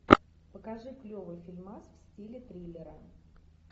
покажи клевый фильмас в стиле триллера